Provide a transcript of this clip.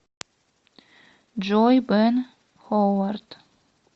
джой бен ховард